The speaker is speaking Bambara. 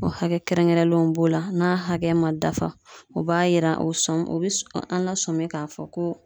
O hakɛ kɛrɛnkɛrɛnlenw b'o la n'a hakɛ ma dafa o b'a yira o sɔmi o bi s an lasɔmin k'a fɔ ko